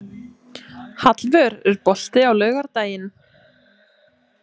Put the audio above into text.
Hallvör, er bolti á laugardaginn?